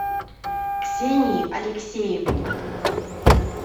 ксении алексеевне